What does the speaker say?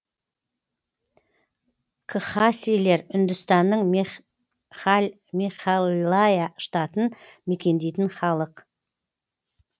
кхасилер үндістанның мегхальлая штатын мекендейтін халық